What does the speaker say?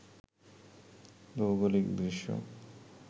ভৌগোলিক দৃশ্য